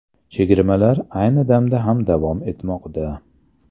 Chegirmalar ayni damda ham davom etmoqda.